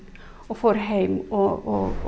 og fór heim og